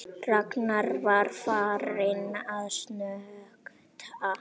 Ragnar var farinn að snökta.